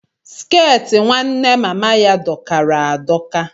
Skẹti nwanne mama ya dokara adoka.